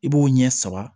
I b'o ɲɛ sama